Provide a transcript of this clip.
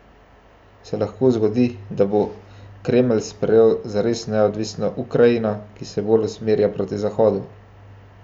Se lahko zgodi, da bo Kremelj sprejel zares neodvisno Ukrajino, ki se bolj usmerja proti Zahodu?